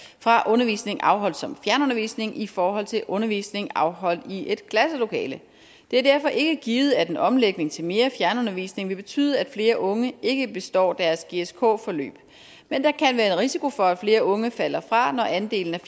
fra undervisning afholdt som fjernundervisning i forhold til undervisning afholdt i et klasselokale det er derfor ikke givet at en omlægning til mere fjernundervisning vil betyde at flere unge ikke består deres gsk forløb men der kan være en risiko for at flere unge falder fra når andelen af